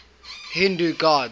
hindu gods